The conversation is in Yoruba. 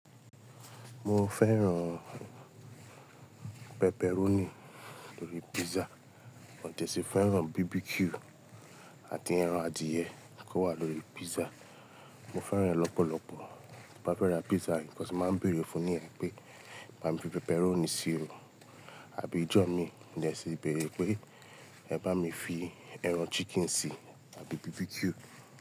Mo fẹ́ran pepperoni lórí pizza, mò tẹ̀ sì fẹ́ran BBQ àti ẹran adìẹ kò wà lórí pizza. Mo fẹ́ran ẹ lọ́pọ̀lọpọ̀. Bí mo bá fẹ́ ra pizza, nkan ṣùgbọ́n máa ń bèrè fun ní ẹ̀ pé bá mi fi pepperoni sí i, àbí ìjọ mi mo dẹ́ ṣì le béèrè pé ẹ bá mi fi ẹran chicken sí i àbí BBQ.